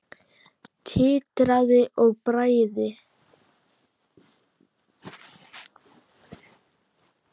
Titraði af bræði.